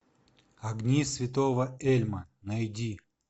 огни святого эльма найди